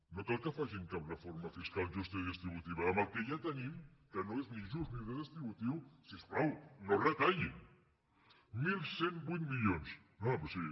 no cal que facin cap reforma fiscal justa ni redistributiva amb el que ja tenim que no és ni just ni redistributiu si us plau no retallin onze zero vuit milions no no però sí